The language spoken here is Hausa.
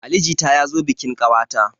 Ali jita ya zo bikin ƙawata.